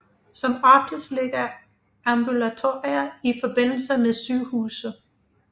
Som oftest ligger ambulatorier i forbindelse med sygehuse